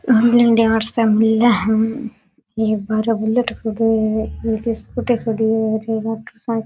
सब मिले है ये बाहरे बुलेट खड़ो है एक स्कूटी खड्यो है और एक मोटर साइकिल --